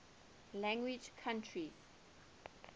language countries